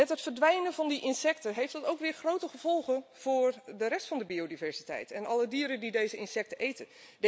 Het verdwijnen van die insecten heeft op zijn beurt grote gevolgen voor de rest van de biodiversiteit en alle dieren die deze insecten eten.